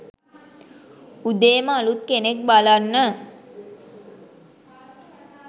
උදේම අලුත් කෙනෙක් බලන්න